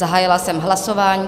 Zahájila jsem hlasování.